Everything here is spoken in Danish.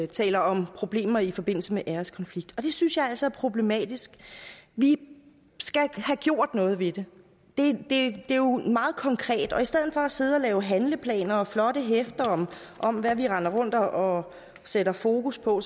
taler om problemer i forbindelse med æreskonflikt det synes jeg altså er problematisk vi skal have gjort noget ved det det er jo meget konkret og i stedet for at sidde og lave handleplaner og flotte hæfter om hvad vi render rundt og sætter fokus på